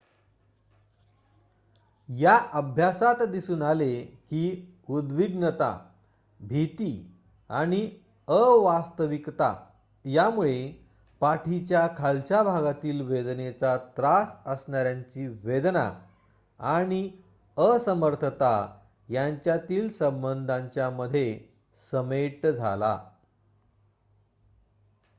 या अभ्यासात दिसून आले की उद्विग्नता भिती आणि अवास्तविकता यामुळे पाठीच्या खालच्या भागातील वेदनेचा त्रास असणाऱ्यांची वेदना आणि असमर्थता यांच्यातील संबंधांच्या मध्ये समेट झाला